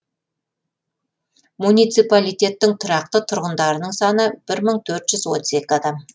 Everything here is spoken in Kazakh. муниципалитеттің тұрақты тұрғындарының саны бір мың төрт жүз отыз екі адам